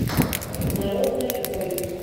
народная бронь